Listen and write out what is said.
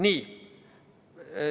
Nii.